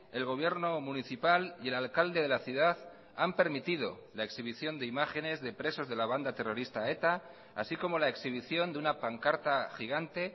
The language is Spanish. el gobierno municipal y el alcalde de la ciudad han permitido la exhibición de imágenes de presos de la banda terrorista eta así como la exhibición de una pancarta gigante